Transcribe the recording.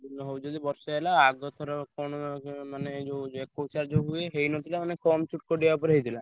ହଉଛି ଯେ ବର୍ଷେ ହେଲା ଆଗ ଥର କଣ ଯଉ ମାନେ ଯୋଉ ଏକୋଇଶିଆ ଯୋଉ ହୁଏ ହେଇନଥିଲା ଆମେ କମ୍ ଛୋଟ କାଟିଆ ଉପରେ ହେଇଥିଲା।